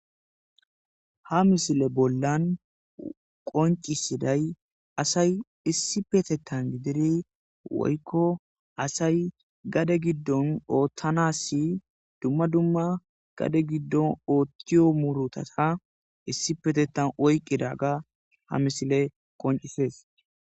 Ha misile bollan qoncisiday asay issi petettan gidiri woykko asay gade giddon oottanassi dumma dumma gade giddon oottiyo murutata issi petetan oyqqida ga ha misile qoncisees.